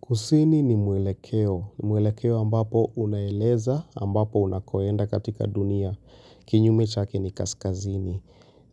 Kusini ni mwelekeo. Mwelekeo ambapo unaeleza ambapo unakoenda katika dunia. Kinyume chake ni kaskazini.